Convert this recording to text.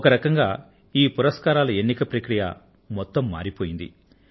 ఒక రకంగా ఈ పురస్కారాల ఎన్నిక ప్రక్రియ మొత్తం మారిపోయింది